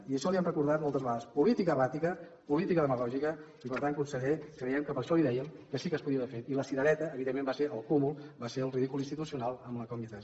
i això li hem recordat moltes vegades política erràtica política demagògica i per tant conseller creiem que per això li dèiem que sí que es podia haver fet i la cirereta evidentment va ser el cúmul va ser el ridícul institucional amb la combi tres